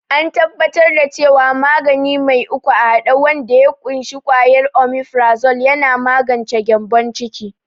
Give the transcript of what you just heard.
an tabbatar da cewa magani mai uku a hade wanda ya ƙunshi kwayar omifrazol yana magance gyambon ciki